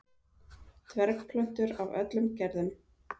Dvergplöntur af öllum gerðum.